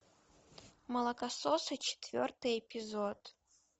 молокососы четвертый эпизод